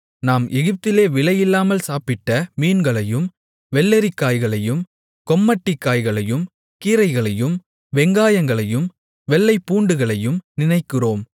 நாம் எகிப்திலே விலையில்லாமல் சாப்பிட்ட மீன்களையும் வெள்ளரிக்காய்களையும் கொம்மட்டிக்காய்களையும் கீரைகளையும் வெங்காயங்களையும் வெள்ளைப்பூண்டுகளையும் நினைக்கிறோம்